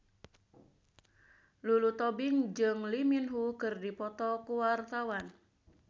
Lulu Tobing jeung Lee Min Ho keur dipoto ku wartawan